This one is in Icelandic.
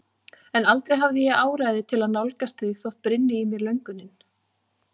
En aldrei hafði ég áræði til að nálgast þig þótt brynni í mér löngunin.